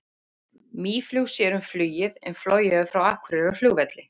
Mýflug sér um flugið en flogið er frá Akureyrarflugvelli.